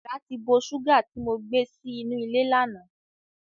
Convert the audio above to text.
Èràn ti bo ṣùgà tí mo gbé sí inú ilé lánàá.